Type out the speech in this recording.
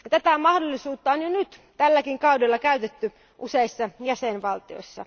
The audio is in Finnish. Tätä mahdollisuutta on jo nyt tälläkin kaudella käytetty useissa jäsenvaltioissa.